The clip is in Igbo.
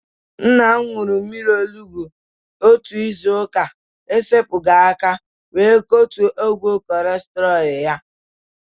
Nna m ṅụrụ mmiri onugbu otu izu ụka esepughi aka wee kụtuo ogo kọlesterọl ya.